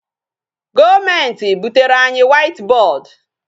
Government butere anyị white board.